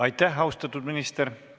Aitäh, austatud minister!